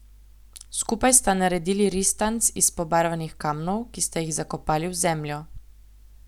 Skupaj sta naredili ristanc iz pobarvanih kamnov, ki sta jih zakopali v zemljo.